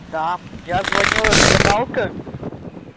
да я звоню это гадалка